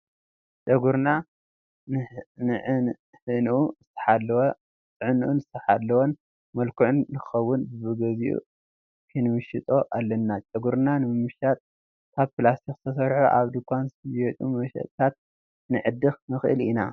ጨጉርና ንዕህንኡ ዝተሓለወን ምልኩዕን ንክኸውን በብግዚኡ ክንምሽጦ ኣለና፡፡ ጨጉርና ንምምሻጥ ካብ ፕላስቲክ ዝተሰርሑ ኣብ ድንኳን ዝሽየጡ መመሸጥታት ክንዕድግ ንኽእል ኢና፡፡